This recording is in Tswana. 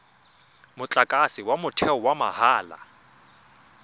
motlakase wa motheo wa mahala